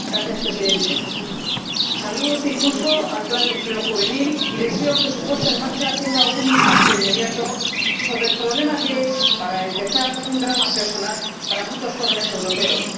Señor Presidente, saludo este impulso al plan de empleo juvenil y deseo que su puesta en marcha tenga un impacto inmediato sobre el problema, que es, para empezar, un drama personal para muchos jóvenes europeos.